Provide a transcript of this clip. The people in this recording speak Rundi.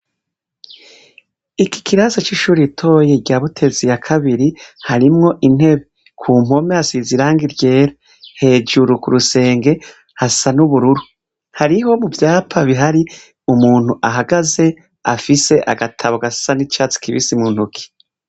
Iki kirasi c'ishuri itoye ryabutezi ya kabiri harimwo intebe ku mpwome asize iranga iryera hejuru ku rusenge hasa n'ubururu hariho mu vyapa bihari umuntu ahagaze afise agatabo gasa ni cars kibisi mu ntuki.